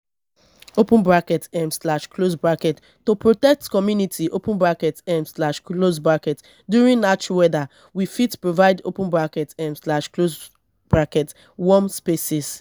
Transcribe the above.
um to protect community um during harsh weather we fit provide um warm spaces